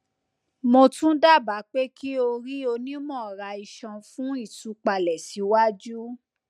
mo tun daba pe ki o ri onimọraiṣọn fun itupalẹ siwaju